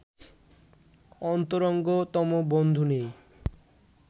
অন্তরঙ্গতম বন্ধু নেই